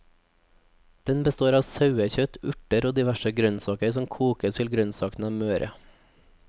Den består av sauekjøtt, urter og diverse grønnsaker som kokes til grønnsakene er møre.